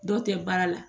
Dɔw tɛ baara la